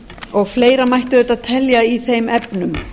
og fleira mætti auðvitað telja í þeim efnum